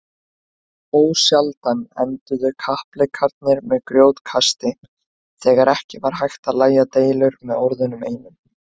Ósjaldan enduðu kappleikirnir með grjótkasti þegar ekki var hægt að lægja deilur með orðunum einum.